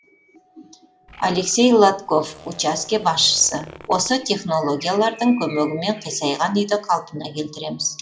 алексей лотков учаске басшысы осы технологиялардың көмегімен қисайған үйді қалпына келтіреміз